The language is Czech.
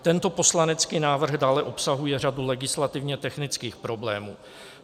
Tento poslanecký návrh dále obsahuje řadu legislativně technických problémů.